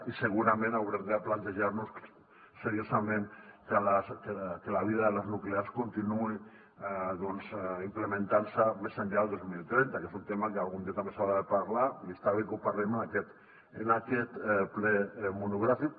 i segurament haurem de plantejar nos seriosament que la vida de les nuclears continuï implementant se més enllà del dos mil trenta que és un tema que algun dia també s’haurà de parlar i està bé que ho parlem en aquest ple monogràfic